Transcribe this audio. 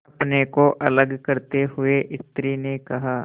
अपने को अलग करते हुए स्त्री ने कहा